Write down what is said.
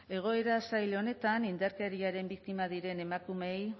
egoera zail honetan indarkeriaren biktima diren emakumeei